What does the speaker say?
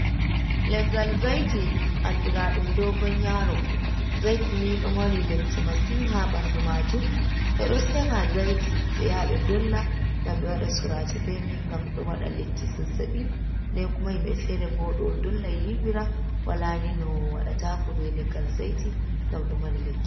Leggal zaiti andira ɗum dogon yaro, zaiti ni do mari lekki masin ha ɓandu majum ɓe ɗo seɓa zaiti be yaa ɓe dolla ngam ɓe waɗa surace be man ngam ɗo waɗa lekki zazzabi den, kuma himɓe feere bo ɗo dolla yiwira wala ni no waɗataako be leggal zaiti ngam ɗo mari lekki.